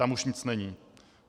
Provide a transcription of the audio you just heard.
Tam už nic není.